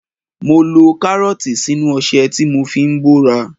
Mo lo Kárọ́ọ̀tì sínú ọṣẹ tí mo fi ń bóra.